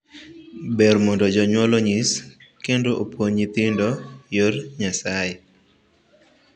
Ber mondo jonyuol onyis kendo opuonj nyithindo yor Nyasaye.